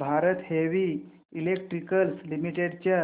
Bharat heavy electricals limited च्या